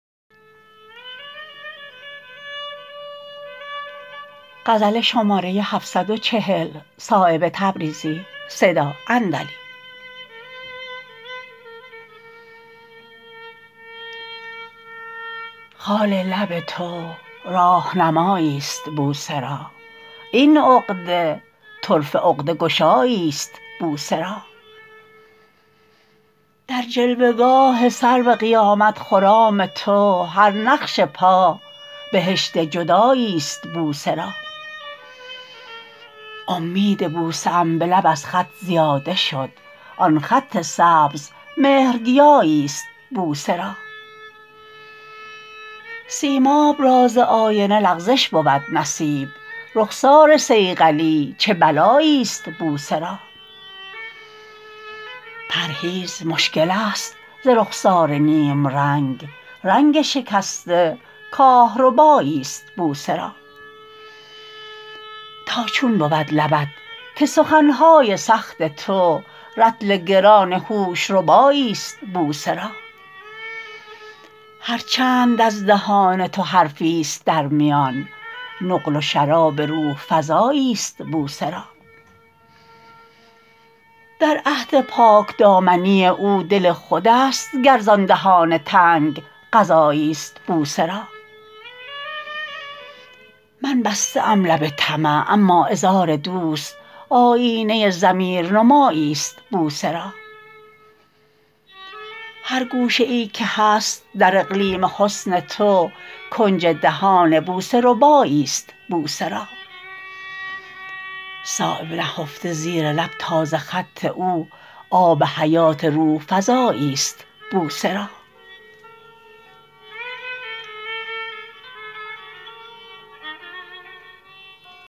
خال لب تو راهنمایی است بوسه را این عقده طرفه عقده گشایی است بوسه را در جلوه گاه سرو قیامت خرام تو هر نقش پا بهشت جدایی است بوسه را امید بوسه ام به لب از خط زیاده شد آن خط سبز مهر گیایی است بوسه را سیماب را ز آینه لغزش بود نصیب رخسار صیقلی چه بلایی است بوسه را پرهیز مشکل است ز رخسار نیمرنگ رنگ شکسته کاهربایی است بوسه را تا چون بود لبت که سخن های سخت تو رطل گران هوش ربایی است بوسه را هر چند از دهان تو حرفی است در میان نقل و شراب روح فزایی است بوسه را در عهد پاکدامنی او دل خودست گر زان دهان تنگ غذایی است بوسه را من بسته ام لب طمع اما عذار دوست آیینه ضمیرنمایی است بوسه را هر گوشه ای که هست در اقلیم حسن تو کنج دهان بوسه ربایی است بوسه را صایب نهفته زیر لب تازه خط او آب حیات روح فزایی است بوسه را